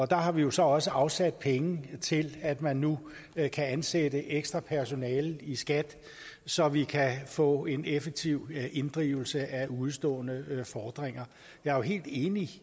der har vi jo så også afsat penge til at man nu kan ansætte ekstra personale i skat så vi kan få en effektiv inddrivelse af udestående fordringer jeg er helt enig